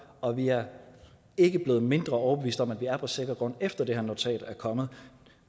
og vi er ikke blevet mindre overbevist om at vi er på sikker grund efter at det her notat er kommet